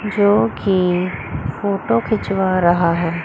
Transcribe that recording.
जो कि फोटो खिंचवा रहा है।